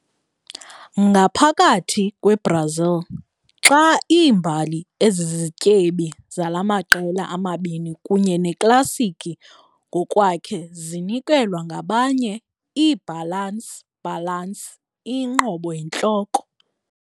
Ngaphakathi kweBrazil, xa iimbali ezizityebi zala maqela ama-2 kunye neklasiki ngokwakhe zinikezelwa ngabanye, i-balance balance iyinqobo yintloko.